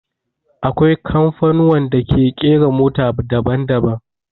Akwai kamfanuwan da ke ƙera mota daban daban